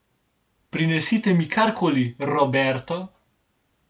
Prinesite mi kar koli, Roberto.